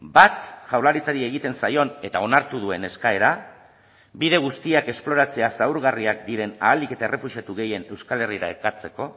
bat jaurlaritzari egiten zaion eta onartu duen eskaera bide guztiak esploratzea zaurgarriak diren ahalik eta errefuxiatu gehien euskal herrira ekartzeko